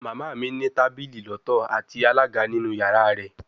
Mama mi ni tabili lọtọ ati alaga ninu yara rẹ